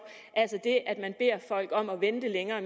altså det at man beder folk om at vente i længere